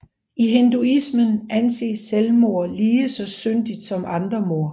I hinduismen anses selvmord lige så syndigt som andre mord